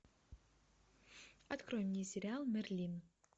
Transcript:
открой мне сериал мерлин